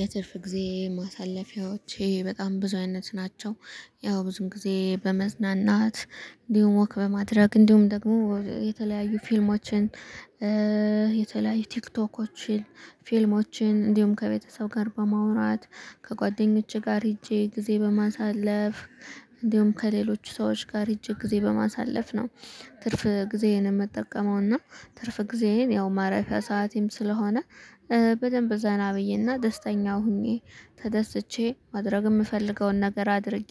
የትርፍ ጊዜ ማሳለፊያዎቼ በጣም ብዙ አይነት ናቸው። ያው ብዙም ጊዜ በመዝናናት እንዲሁም ወክ በማድረግ እንዲሁም ደግሞ የተለያዩ ፊልሞችን የተለያዩ ቲክቶኮችን ፊልሞችን እንዲሁም ከቤተሰብ ጋር በማውራት ከጓደኞቼ ጋር ሄጄ ጊዜ በማሳለፍ። እንዲሁም ከሌሎች ሰዎች ጋር ሄጄ ጊዜ በማሳለፍ ነው ትርፍ ጊዜዬን የምጠቀመውና ትርፍ ጊዜዬን ያው ማረፊያ ሰዓቴም ስለሆነ በደንብ ዘና ብዬና ደስተኛ ሆኜ ተደስቼ ማድረግ የምፈልገውን ነገር አድርጌ።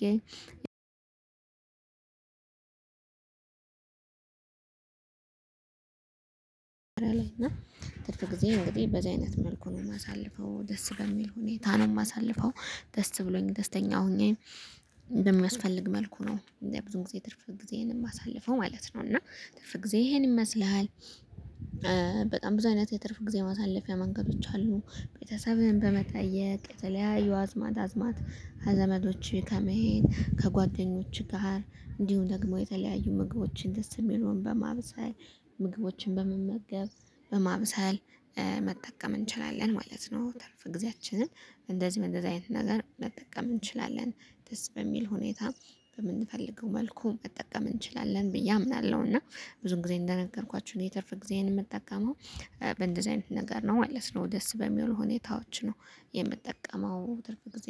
እና ትርፍ ጊዜ እንግዲህ በዚህ አይነት መልኩ ነው የማሳልፈው ደስ በሚል ሁኔታ ነው የማሳልፈው። ደስ ብሎኝ ደስተኛ ሆኜ በሚያስፈልግ መልኩ ነው እኔ ብዙ ጊዜ ትርፍ ጊዜህን የማሳልፈው ማለት ነው። እና ትርፍ ጊዜ ይህን ይመስልሃል? በጣም ብዙ አይነት የትርፍ ጊዜ ማሳለፊያ መንገዶች አሉ። ቤተሰብህን በመጠየቅ የተለያዩ አዝማድ አዝማድ ዘመዶች ከመሄድ ከጓደኞች ጋር እንዲሁም ደግሞ የተለያዩ ምግቦችን ደስ የሚለውን በማብሰል ምግቦችን በመመገብ በማብሰል መጠቀም እንችላለን ማለት ነው። ትርፍ ጊዜያችንን እንደዚህ እንደዚህ አይነት ነገር መጠቀም እንችላለን። ደስ በሚል ሁኔታ በምንፈልገው መልኩ መጠቀም እንችላለን ብዬ አምናለሁ። እና ብዙ ጊዜ እንደነገርኳችሁ የትርፍ ጊዜን የምጠቀመው በእንደዚህ አይነት ነገር ነው ማለት ነው። ደስ በሚሉ ሁኔታዎችን ነው የምጠቀመው ትርፍ ጊዜ